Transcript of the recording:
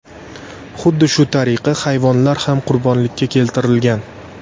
Xuddi shu tariqa hayvonlar ham qurbonlikka keltirilgan.